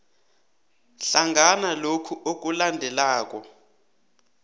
hlangana lokhu okulandelako